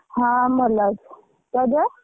ହଁ, ଭଲ ଅଛି, ତୋ ଦେହ?